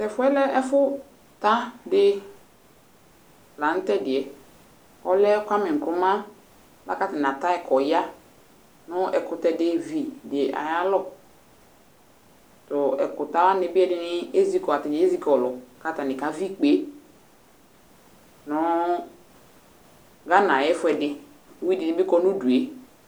to ɛfoɛ lɛ ɛfo ta di la no tɛdiɛ ɔlɔ Kwame Nkruma boa ko atani ata yi ko ɔya no ɛkotɛ di vi di ayalɔ to ɛko ta wani bi ɛdi ni ezi kɔ atani ezi kɔlo ko atani ka vi ikpe no Gana ayi ɛfoɛdi uvi di ni bi kɔ no udue